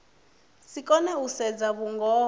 si kone u sedza vhungoho